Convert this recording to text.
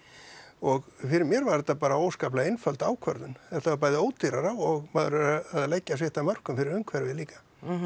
og fyrir mér var þetta bara óskaplega einföld ákvörðun þetta var bæði ódýrara og maður er að leggja sitt af mörkum fyrir umhverfið líka